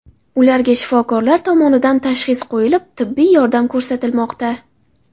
Ularga shifokorlar tomonidan tashxis qo‘yilib, tibbiy yordam ko‘rsatilmoqda.